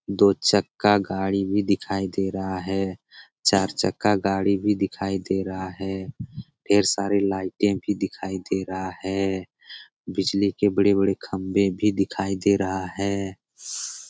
दो चक्का गाड़ी भी दिखाई दे रहा है । चार चक्का गाड़ी भी दिखाई दे रहा है। ढेर सारे लाइटे भी दिखाई दे रहा है । बिजली के बड़े-बड़े खंबे भी दिखाई दे रहा है ।